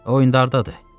O indi hardadır?